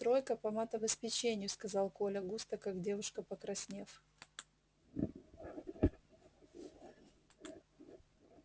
тройка по матобеспечению сказал коля густо как девушка покраснев